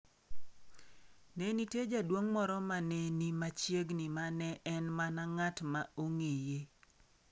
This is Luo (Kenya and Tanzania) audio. Ne nitie jaduong’ moro ma ne ni machiegni ma ne en mana ng’at ma nong’eye.